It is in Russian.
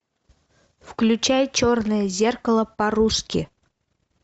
включай черное зеркало по русски